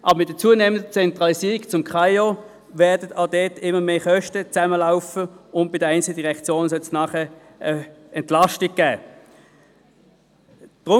Durch die zunehmende Zentralisierung beim KAIO werden an dieser Stelle mehr Kosten auflaufen und bei den einzelnen Direktionen Entlastung bringen.